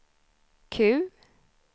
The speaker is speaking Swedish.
Q